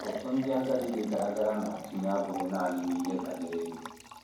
Ụtụ ndị agadi dị gara gara na - atụnye abụghị nanị n’ihe banyere ego.